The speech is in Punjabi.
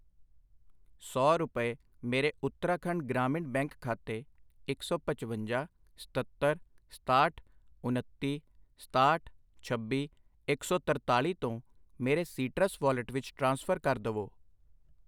ਸੌ ਰੁਪਏ ਮੇਰੇ ਉੱਤਰਾਖੰਡ ਗ੍ਰਾਮੀਣ ਬੈਂਕ ਖਾਤੇ ਇੱਕ ਸੌ ਪਚਵੰਜਾ, ਸਤੱਤਰ, ਸਤਾਹਠ, ਉਨੱਤੀ, ਸਤਾਹਠ, ਛੱਬੀ, ਇੱਕ ਸੌ ਤਰਤਾਲੀ ਤੋਂ ਮੇਰੇ ਸੀਟਰਸ ਵਾਲਿਟ ਵਿੱਚ ਟ੍ਰਾਂਸਫਰ ਕਰ ਦਵੋI